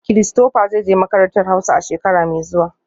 Christopher zai je makarantar hauza a shekara mai zuwa